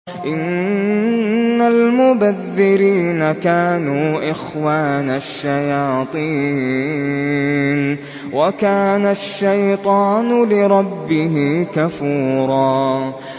إِنَّ الْمُبَذِّرِينَ كَانُوا إِخْوَانَ الشَّيَاطِينِ ۖ وَكَانَ الشَّيْطَانُ لِرَبِّهِ كَفُورًا